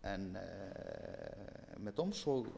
ekki með dóms og